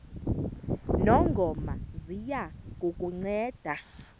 ngongoma ziya kukunceda